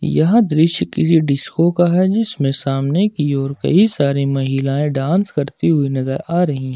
यह दृश्य किसी डिस्को का है जिसमें सामने की ओर कई सारी महिलाएं डांस करती हुई नजर आ रही है।